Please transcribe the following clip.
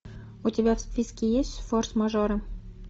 у тебя в списке есть форс мажоры